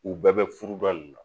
U bɛɛ bɛ furuba